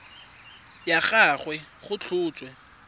wa ga gagwe go tlhotswe